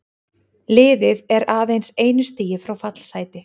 Liðið er aðeins einu stigi frá fallsæti.